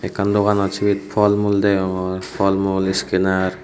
ekkan doganot cibet folmul degogrr folmul scanner.